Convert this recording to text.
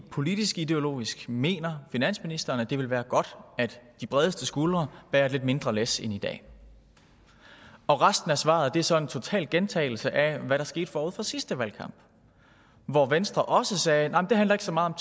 politisk ideologisk mener finansministeren det vil være godt at de bredeste skuldre bærer et lidt mindre tungt læs end i dag og resten af svaret er så en total gentagelse af hvad der skete forud for sidste valgkamp hvor venstre også sagde nej det handler ikke så meget